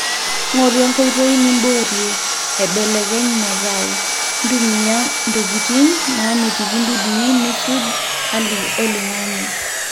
ngoru enkoitoi niboorie, aibelekeny masao, ntumia ntokitin naamitiki dudui nisuj hali oloingange